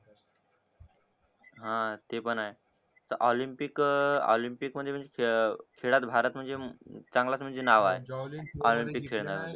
हा ते पण आहे ऑलिम्पिक अं ऑलिम्पिक म्हणजे खेळात भारत म्हणजे चांगलाच म्हणजे नाव आहे